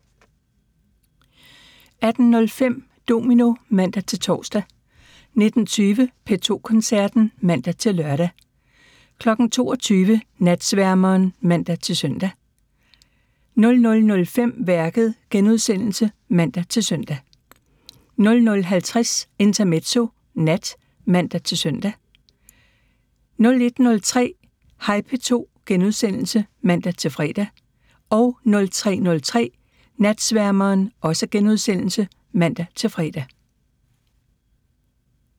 18:05: Domino (man-tor) 19:20: P2 Koncerten (man-lør) 22:00: Natsværmeren (man-søn) 00:05: Værket *(man-søn) 00:50: Intermezzo (nat) (man-søn) 01:03: Hej P2 *(man-fre) 03:03: Natsværmeren *(man-fre)